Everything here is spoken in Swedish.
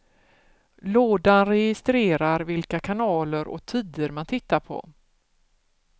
Lådan registrerar vilka kanaler och tider man tittar på.